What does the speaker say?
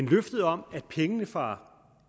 løftet om at pengene fra